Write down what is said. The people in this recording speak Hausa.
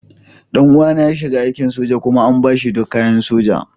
Ɗan uwana ya shiga aikin soja kuma an ba shi duk kayan soja.